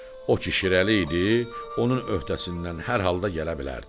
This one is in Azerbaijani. O ki şirəli idi, onun öhdəsindən hər halda gələ bilərdim.